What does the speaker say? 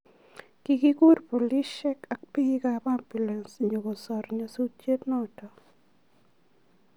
Kokiguur polisiek ak biik ab ambulance nyo kosor nyasutienoto .